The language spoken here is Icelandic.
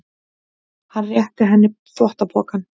Hann réttir henni þvottapokann.